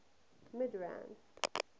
midrand